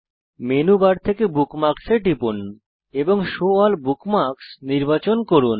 menu bar থেকে bookmarks এ টিপুন এবং শো এএলএল বুকমার্কস নির্বাচন করুন